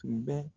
Tun bɛ